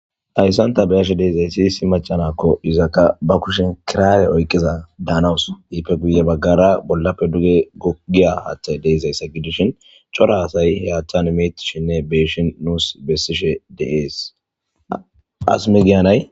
hayssanta beyashe deezaysiyisi macanakko izakka ba kushen kiraawe oyqiza daanawus iipfe guye baggara bollappe duge gogiya haaththay deezayssa gidishin cora asay heyachan imitishinne beeshin nuus bessishe deees as megiyanay